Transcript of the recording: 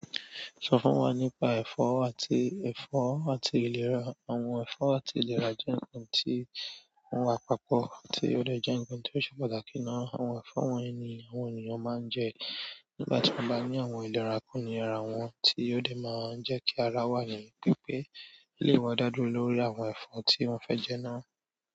Sọ fún wa nípa ẹ̀fọ́ àti ìlera àwọn ẹ̀fọ́ àti ìlera jẹ nkan ti wọn wa papọ̀ ti wọn dẹ jẹ nkan ti o ṣe pàtàkì. Àwọn ẹ̀fọ́ wọ́nyi ni àwọn ènìyàn máa ń jẹ nígbà tí èèyàn bá ní àwọn ìdàrákó ni ara wọn, tí ó lè máa ń jẹ́ kí ara wa ni pé pé lè wọ dávlórí àwọn ẹ̀fọ́ tí wọ́n fẹ́ jẹ náà.